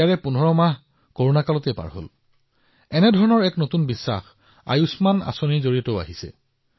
ইয়াৰে ১৫ মাহ কৰোনাৰ সময় আছিল দেশত আয়ুষ্মান যোজনাৰ পৰা একে ধৰণৰ নতুন বিশ্বাসৰ সৃষ্টি হৈছে